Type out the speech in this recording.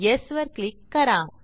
yes वर click करा